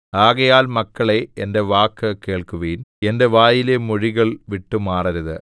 ആകയാൽ മക്കളേ എന്റെ വാക്ക് കേൾക്കുവിൻ എന്റെ വായിലെ മൊഴികൾ വിട്ടുമാറരുത്